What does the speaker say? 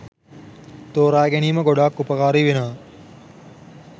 තෝරාගැනීම ගොඩාක් උපකාරී වෙනවා.